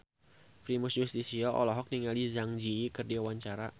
Primus Yustisio olohok ningali Zang Zi Yi keur diwawancara